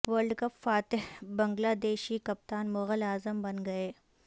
world cup فاتح Bangladeshi کپتان مغل اعظم بن گئے